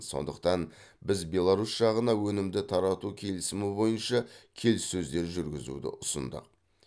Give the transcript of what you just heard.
сондықтан біз беларусь жағына өнімді тарату келісімі бойынша келіссөздер жүргізуді ұсындық